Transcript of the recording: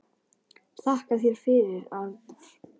Þakka þér fyrir, Arnar.